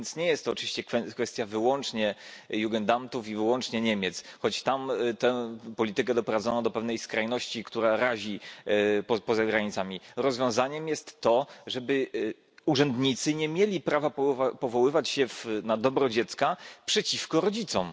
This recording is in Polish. Nie jest to więc oczywiście kwestia wyłącznie Jugendamtów i wyłącznie Niemiec, choć tam tę politykę doprowadzono do pewnej skrajności, która razi poza granicami tego kraju. Rozwiązaniem jest to, żeby urzędnicy nie mieli prawa powoływać się na dobro dziecka przeciwko rodzicom.